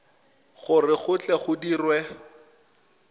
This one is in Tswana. gore go tle go dirwe